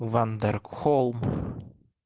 ван даркхолм